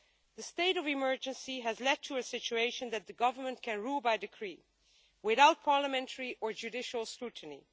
The state of emergency has led to a situation where the Government can rule by decree without parliamentary or judicial scrutiny.